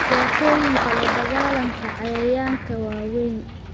Dhibaatooyinka la dagaalanka cayayaanka waa weyn.